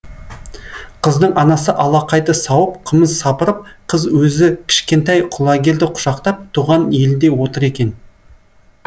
қыздың анасы алақайды сауып қымыз сапырып қыз өзі кішкентай құлагерді құшақтап туған елінде отыр екен